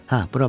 Hə, bura bax.